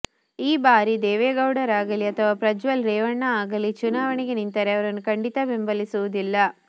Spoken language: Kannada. ಈ ಬಾರಿ ದೇವೇಗೌಡರಾಗಲಿ ಅಥವಾ ಪ್ರಜ್ವಲ್ ರೇವಣ್ಣ ಅಗಲೀ ಚುನಾವಣೆಗೆ ನಿಂತರೆ ಅವರನ್ನು ಖಂಡಿತ ಬೆಂಬಲಿಸುವುದಿಲ್ಲ